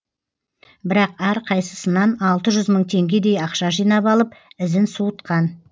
бірақ әрқайсысынан алты жүз мың теңгедей ақша жинап алып ізін суытқан